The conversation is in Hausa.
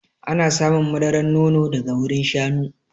Ana samun madaran nono daga wurin shanu.